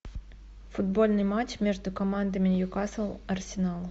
футбольный матч между командами ньюкасл арсенал